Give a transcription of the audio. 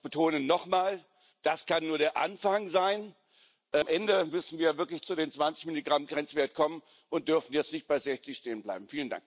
Aber ich betone noch mal Das kann nur der Anfang sein, denn am Ende müssen wir wirklich zu dem 20 Milligramm Grenzwert kommen und dürfen jetzt nicht bei 60 stehenbleiben.